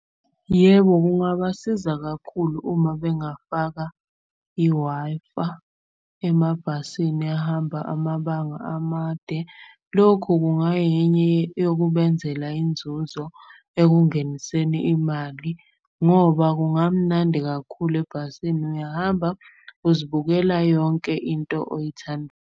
Yebo, kungabasiza kakhulu uma bengafaka i-Wi-Fi emabhasini ahamba amabanga amade. Lokhu kungayenye yokubenzela inzuzo ekungeniseni imali ngoba kungamnandi kakhulu ebhasini. Uyahamba, uzibukela yonke into .